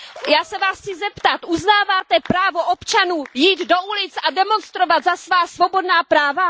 Já se Vás chci zeptat Uznáváte právo občanů jít do ulic a demonstrovat za svá svobodná práva?